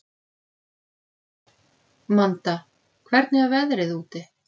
Manda, hvernig er veðrið úti?